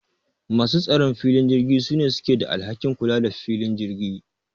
Masu tsaron filin jirgi sune suke da alhakin kula the filin jirgi